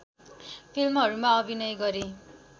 फिल्महरूमा अभिनय गरे